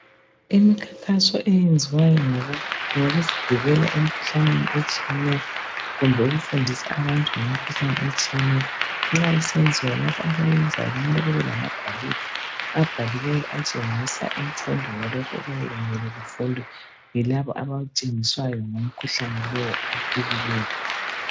Imikhankaso eyenziwayo, ngokusivikela emikhuhlaneni etshiyeneyo. Kumbe ukufundisa abantu ngemikhuhlane etshiyeneyo. Nxa isenziwa , labo abayenzayo, kumele babe lamagwaliba. Abhaliweyo, atshengisa imfundo yalokho okuyabe kumele kufundwe. Yilabo abatshengiswayo, ngomkhuhlane lowo, ofikileyo.